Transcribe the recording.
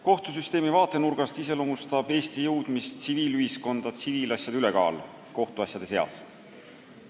Kohtusüsteemi vaatenurgast iseloomustab Eesti jõudmist tsiviilühiskonda tsiviilasjade ülekaal kohtuasjade seas.